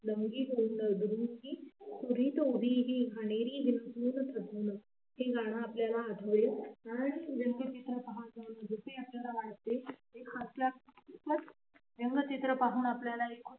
हे गाणं आपल्याला आठवेल व्यंगचित्र पाहून आपल्याला